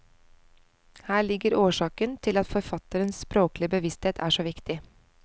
Her ligger årsaken til at forfatterens språklige bevissthet er så viktig.